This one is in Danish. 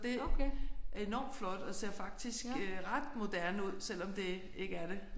Det er enormt flot og ser faktisk øh ret moderne ud selvom det ikke er det